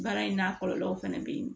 Baara in n'a kɔlɔlɔw fana bɛ yen